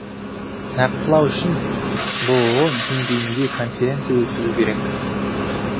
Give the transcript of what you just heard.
нақтылау үшін бұұ деңгейінде конференция өткізу керек